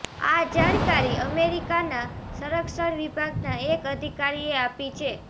આ જાણકારી અમેરિકાના સંરક્ષણ વિભાગના એક અધિકારીએ આપી છે